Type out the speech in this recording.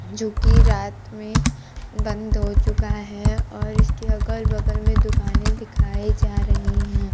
जो कि रात में बंद हो चुका है और इसके अगल बगल में दुकानें दिखाई जा रही हैं।